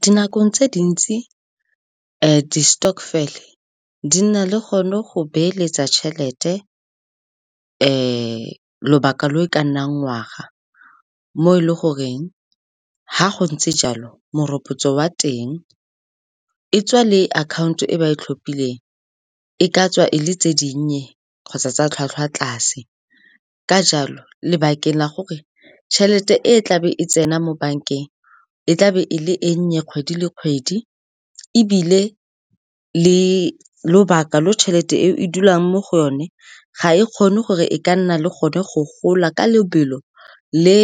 Dinakong tse dintsi di-stokvel-e di na le gone go beeletsa tšhelete lobaka lo e ka nnang ngwaga, mo e leng gore ga go ntse jalo, morokotso wa teng, e tswa le akhaonto e ba e tlhophileng, e ka tswa e le tse dinnye kgotsa tsa tlhwatlhwa tlase. Ka jalo, lebakeng la gore tšhelete e e tla be e tsena mo bankeng e tla be e le e nnye kgwedi le kgwedi, ebile le lobaka lo tšhelete e o e dulang mo go yone ga e kgone gore e ka nna le gone go gola ka lebelo le